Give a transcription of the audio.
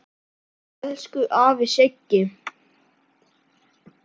Elsku afi Siggi.